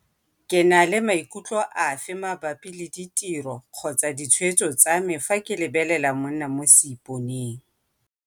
Ke na le maikutlo afe mabapi le ditiro-ditshwetso tsa me fa ke lebelela 'monna mo seiponeng'?